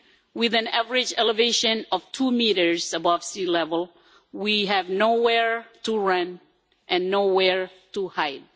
With an average elevation of two metres above sea level, we have nowhere to run and nowhere to hide.